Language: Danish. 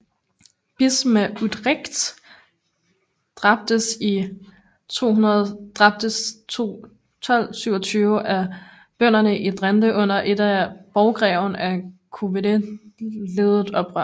Bispen af Utrecht dræbtes 1227 af bønderne i Drente under et af borggreven af Coevorden ledet oprør